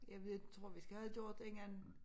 Jeg ved tror vi skal have det gjort inden